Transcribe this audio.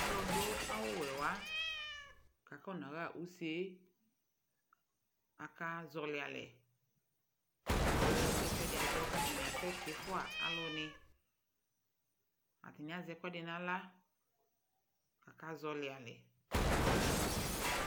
alʋ dʋ awʋ wɛ wa kʋ akɔna ha ʋsɛ aka zɔli alɛ kʋɛsɛdi adzɔ kʋ atani asɛ tiƒʋa alʋ ni, atani azɛ ɛkʋɛdi nʋ ala kʋ aka zɔli alɛ